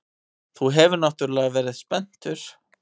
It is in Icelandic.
Þú hefur náttúrlega verið spenntur.